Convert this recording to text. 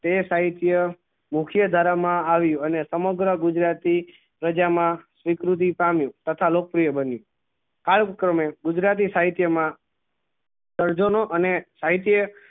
તે સાહિત્ય મુખ્ય ધારા મા આવી અને સમગ્ર ગુજરાતી પ્રજા માં સ્વીકીરતી પામ્યું તથા લોકપ્રિય બન્યું આ જ ક્રમે ગુજરાતી સાહિત્ય મા સર્જનો અને